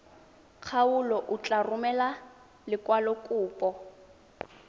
kgaolo o tla romela lekwalokopo